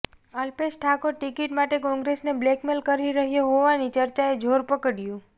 Alpesh Thakor ticket માટે કોંગ્રેસને blackmail કરી રહ્યો હોવાની ચર્ચાએ જોર પકડ્યું